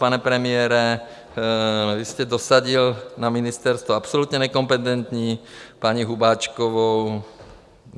Pane premiére, vy jste dosadil na ministerstvo absolutně nekompetentní paní Hubáčkovou.